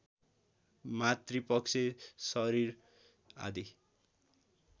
मातृपक्ष शरीर आदि